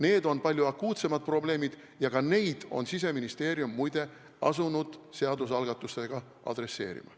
Need on palju akuutsemad probleemid ja ka nendega on Siseministeerium, muide, asunud seadusalgatuste abil tegelema.